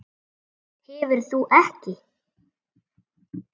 Hverfur ekki.